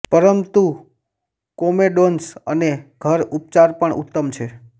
પરંતુ કોમેડોન્સ અને ઘર ઉપચાર પણ ઉત્તમ છે